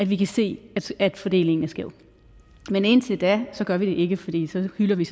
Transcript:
vi kan se at fordelingen er skæv men indtil da gør vi det ikke fordi så hylder vi